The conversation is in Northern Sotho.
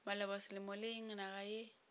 maloba selemo le naga yeo